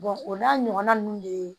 o n'a ɲɔgɔnna ninnu de